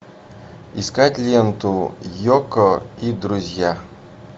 искать ленту йоко и друзья